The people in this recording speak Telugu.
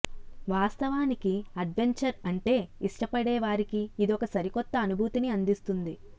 వాస్తవానికి అడ్వెంచర్ అంటే ఇష్టపడే వారికి ఇదొక సరికొత్త అనుభూతిని అందిస్తుంది